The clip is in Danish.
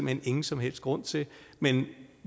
hen ingen som helst grund til men